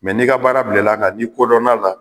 n'i ka baara bilala kan n'i kodɔnna a la